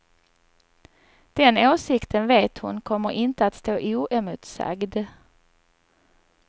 Den åsikten vet hon kommer inte att stå oemotsagd.